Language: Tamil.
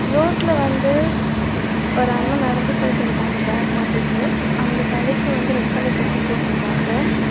ரோட்ல வந்து ஒரு அண்ணா நடந்து போயிட்டிருக்காங்க ஃபேக் மாட்டிட்டு அவங்க தலைக்கு வந்து ரெட் கலர் தொப்பி போட்ருக்காங்க.